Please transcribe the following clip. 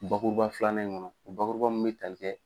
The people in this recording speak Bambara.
Bakuruba filanan in ŋɔnɔ o bakuruba min be tali kɛ